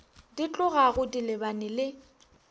di tlogago di lebane le